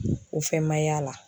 O fɛn ma y'a la.